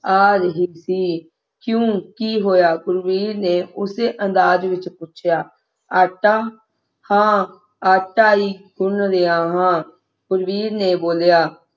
ਆ ਰਹੀ ਸੀ ਕਿਉਂ ਕੀ ਹੋਇਆ ਗੁਰਬੀਰ ਨੇ ਉਸੇ ਅੰਦਾਜ਼ ਵਿਚ ਪੁੱਛਿਆ ਆਟਾ ਹਾਂ ਆਟਾ ਹੀ ਗੁਨ ਰਿਹਾ ਹਾਂ ਗੁਰਬੀਰ ਨੇ ਕਿਹਾ